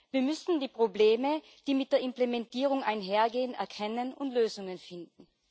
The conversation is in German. Wir müssen die Probleme, die mit der Implementierung einhergehen, erkennen und Lösungen finden.